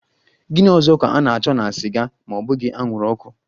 Gini ọzọ ka a na-achọ na siga ma ọ bughi anwuru ọkụ?